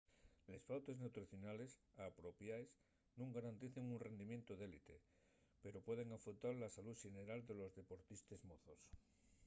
les pautes nutricionales apropiaes nun garanticen un rindimientu d'élite pero pueden afeutar la salú xeneral de los deportistes mozos